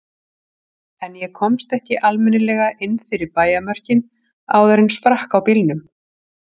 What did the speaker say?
En ég komst ekki almennilega inn fyrir bæjarmörkin áður en sprakk á bílnum.